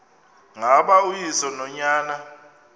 ngaba uyise nonyana